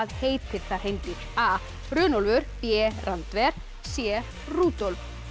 heitir það hreindýr a Runólfur b Randver c Rúdolf